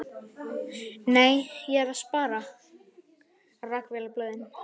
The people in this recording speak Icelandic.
Nei, ég er að spara. rakvélarblöðin.